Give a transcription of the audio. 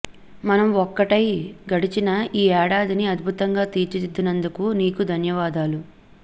మనం ఒక్కటై గడిచిన ఈ ఏడాదిని అద్భుతంగా తీర్చిదిద్దినందుకు నీకు ధన్యవాదాలు